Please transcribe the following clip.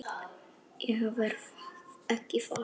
Ég verð ekki þar.